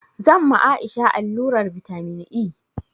Zan ma Aisha allurar vitamin E